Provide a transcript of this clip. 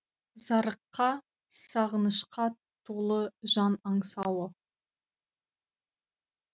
зарыққа сағынышқа толы жан аңсауы